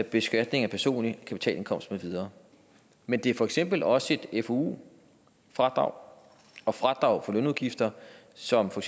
beskatning af personlig kapitalindkomst med videre men det er for eksempel også et fou fradrag og fradrag for lønudgifter som for